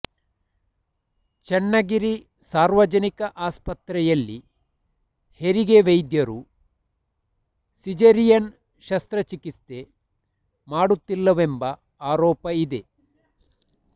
ಚನ್ನಗಿರಿ ಸಾರ್ವಜನಿಕ ಆಸ್ಪತ್ರೆಯಲ್ಲಿ ಹೆರಿಗೆ ವೈದ್ಯರು ಸಿಜರೀಯನ್ ಶಸ್ತ್ರ ಚಿಕಿತ್ಸೆ ಮಾಡುತ್ತಿಲ್ಲವೆಂಬ ಆರೋಪ ಇದೆ